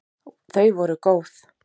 Þau voru góð!